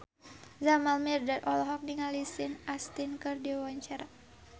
Jamal Mirdad olohok ningali Sean Astin keur diwawancara